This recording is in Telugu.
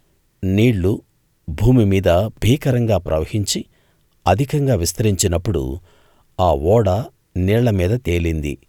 నీళ్ళు భూమి మీద భీకరంగా ప్రవహించి అధికంగా విస్తరించినప్పుడు ఆ ఓడ నీళ్ళ మీద తేలింది